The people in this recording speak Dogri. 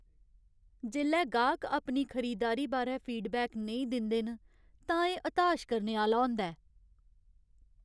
जेल्लै गाह्क अपनी खरीददारी बारै फीडबैक नेईं दिंदे न तां एह् हताश करने आह्‌ला होंदा ऐ।